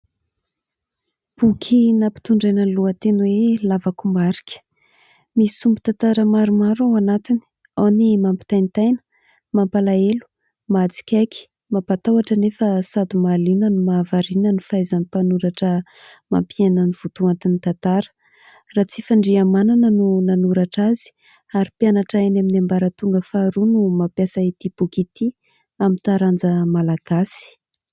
Boky nampitondraina ny lohateny hoe lavakombarika misy sombin-tantara maromaro ao anatiny, ao ny mampitaintaina, mampalahelo, mahatsikaiky, mampatahotra anefa sady mahaliana no mahavariana ny fahaizan'ny mpanoratra mampiaina ny votoantin'ny tantara. Ratsifandriamanana no nanoratra azy ary mpianatra eny amin'ny ambaratonga faharoa no mampiasa ity boky ity amin'ny taranja Malagasy.